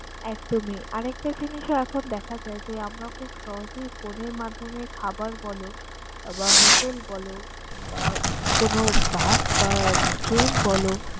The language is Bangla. একদমই আর আরেকটা জিনিসও এখন দেখা যায় যে, আমরা খুব সহজেই phone এর মাধ্যমে খাবার বলো বা hotel বলো বা কোন bus বা কোন train বল